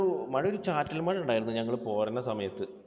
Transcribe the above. മഴ ഒരു ചാറ്റൽ മഴ ഉണ്ടായിരുന്നു ഞങ്ങൾ പോരണ സമയത്ത്.